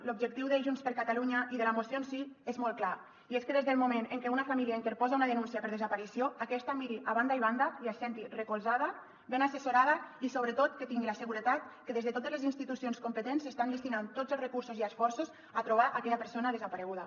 l’objectiu de junts per catalunya i de la moció en si és molt clar i és que des del moment en què una família interposa una denúncia per desaparició aquesta miri a banda i banda i es senti recolzada ben assessorada i sobretot que tingui la seguretat que des de totes les institucions competents s’estan destinant tots els recursos i esforços a trobar aquella persona desapareguda